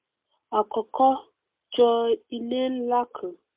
á kọkọ jọ ilé nlá kan